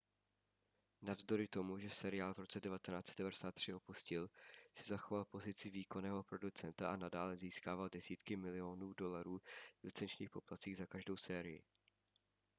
navzdory tomu že seriál v roce 1993 opustil si zachoval pozici výkonného producenta a nadále získával desítky milionů dolarů v licenčních poplatcích za každou sérii